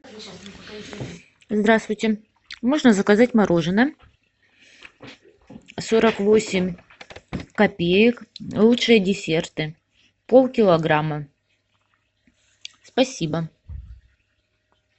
здравствуйте можно заказать мороженное сорок восемь копеек лучшие десерты полкилограмма спасибо